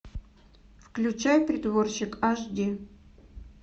включай притворщик аш ди